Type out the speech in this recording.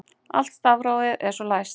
Allt stafrófið er svo læst